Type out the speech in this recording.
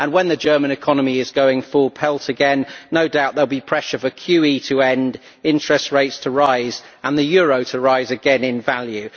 When the German economy is going full pelt again, no doubt there will be pressure for QE to end, interest rates to rise and the euro to rise again in value.